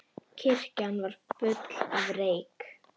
Kirkjan var full af reyk.